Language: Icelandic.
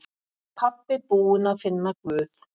Pabbi búinn að finna Guð!